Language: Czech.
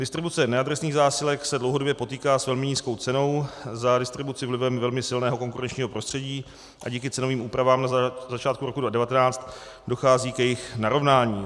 Distribuce neadresných zásilek se dlouhodobě potýká s velmi nízkou cenou za distribuci vlivem velmi silného konkurenčního prostředí a díky cenovým úpravám na začátku roku 2019 dochází k jejich narovnání.